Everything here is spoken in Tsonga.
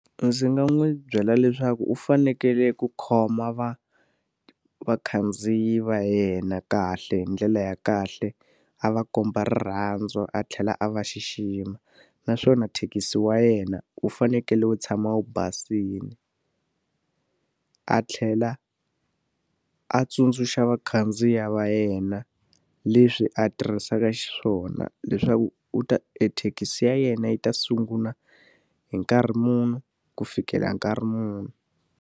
Ndzi nga n'wi byela leswaku u fanekele ku khoma vakhandziyi va yena kahle hi ndlela ya kahle, a va komba rirhandzu a tlhela a va xixima. Naswona thekisi ya yena u fanekele u tshama wu basile, a tlhela a tsundzuxa vakhandziyi va yena leswi a tirhisaka xiswona. Leswaku u ta e thekisi ya yena yi ta sungula hi nkarhi muni ku fikela nkarhi muni.